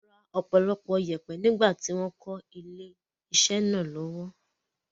Wọ́n ra ọ̀pọ̀lọpọ̀ yèèpẹ̀ nígbà tí wọ́n ń kọ́ ilé-isẹ́ náà lọ́wọ́.